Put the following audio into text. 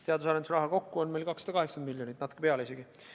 Teadus- ja arendustegevuse raha kokku on meil 280 miljonit, isegi natuke rohkem.